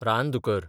रानदुकर